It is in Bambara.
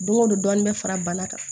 Don o don dɔɔnin bɛ fara bana kan